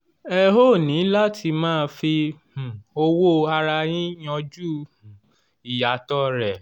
ẹ óò ní láti máa fi um owó ara yín yanjú um ìyàtọ̀ rẹ̀